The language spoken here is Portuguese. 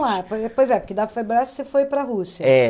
pois é, porque da você foi para a Rússia. É